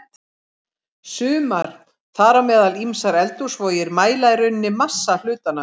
Sumar, þar á meðal ýmsar eldhúsvogir, mæla í rauninni massa hlutanna.